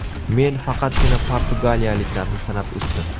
Men faqatgina portugaliyaliklarni sanab o‘tdim.